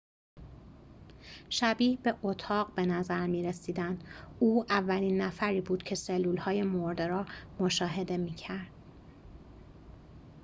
شبیه به اتاق به نظر می‌رسیدند او اولین نفری بود که سلولهای مرده را مشاهده می‌کرد